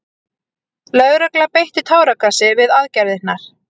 Lögregla beitti táragasi við aðgerðirnar